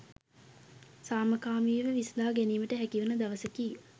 සාමකාමීව විසඳා ගැනීමට හැකිවන දවසකි.